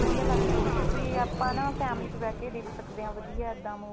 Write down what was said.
ਵਧੀਆ ਲੱਗਦੀਆਂ ਨੇ ਕਿਉਂਕਿ ਆਪਾਂ ਨਾ family ਚ ਬੈਠ ਕੇ ਦੇਖ ਸਕਦੇ ਹਾਂ